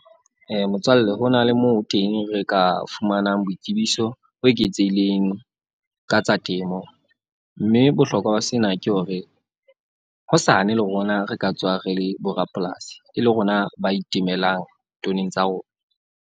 Motswalle ho na le moo teng re ka fumanang boitsebiso bo eketsehileng ka tsa temo. Mme bohlokwa ba sena ke hore, hosane le rona re ka tswa re le borapolasi. E le rona ba itemelang tsa rona.